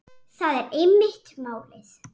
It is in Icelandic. Það er einmitt málið.